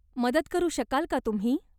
मदत करू शकाल का तुम्ही?